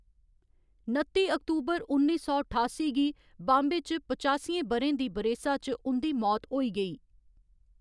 नत्ती अक्टूबर उन्नी सौ ठासी गी बाम्बे च पचासियें ब'रें दी बरेसा च उं'दी मौत होई गेई।